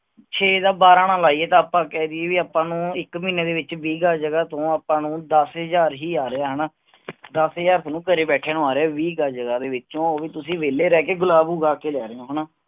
ਛੇ ਦਾ ਬਾਰਾਹ ਨਾ ਲਾਈਏ ਤਾਂ ਆਪਾਂ ਕਹਿ ਦਈਏ, ਵੀ ਆਪਾਂ ਨੂੰ ਇਕ ਮਹੀਨੇ ਦੇ ਵਿਚ ਵੀਹ ਗਜ ਜਗਾਹ ਤੋਂ ਆਪਾਂ ਨੂੰ ਦਸ ਹਜਾਰ ਹੀ ਆ ਰਿਹਾ ਹੈ ਹਣਾ ਦਸ ਹਜਾਰ ਤੁਹਾਨੂੰ ਘਰੇ ਬੈਠਿਆਂ ਨੂੰ ਆ ਰਿਹਾ ਹੈ ਵੀਹ ਗਜ ਜਗਾਹ ਵਿਚੋ ਉਹ ਭੀ ਤੁਸੀ ਵਹਿਲੇ ਰਹਿ ਕੇ ਗੁਲਾਬ ਉਗਾ ਕੇ ਲੇ ਰਹੇ ਹੋ ਹਣਾ